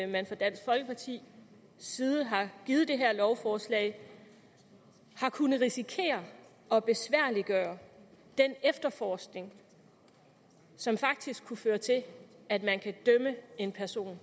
man fra dansk folkepartis side har givet det her lovforslag har kunnet risikere at besværliggøre den efterforskning som faktisk kunne føre til at en person